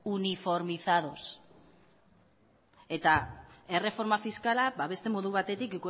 uniformizados eta erreforma fiskala ba beste modu batetik